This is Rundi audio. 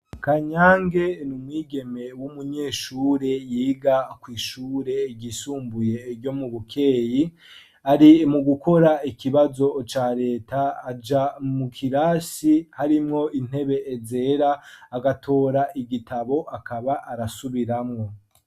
Kanyange ni mwigeme w'umunyeshure yiga kwishure igisumbuye iryo mu bukeyi ari mu gukora ikibazo ca leta aja mu kirasi harimwo intebe ezera agatora igitabo akaba arasubiramwo.